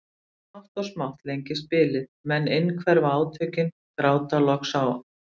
Smátt og smátt lengist bilið, menn innhverfa átökin, gráta loks á